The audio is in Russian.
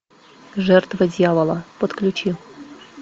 жертва дьявола подключи